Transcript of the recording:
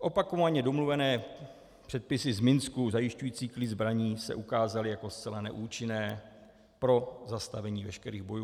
Opakovaně domluvené předpisy z Minsku zajišťující klid zbraní se ukázaly jako zcela neúčinné pro zastavení veškerých bojů.